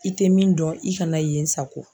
I tɛ min dɔn i kana yen sago.